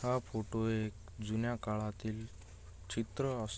हा फोटो एक जुन्या काळातील चित्र अस--